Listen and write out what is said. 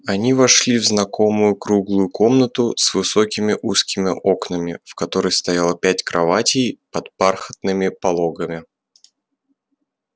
они вошли в знакомую круглую комнату с высокими узкими окнами в которой стояло пять кроватей под бархатными пологами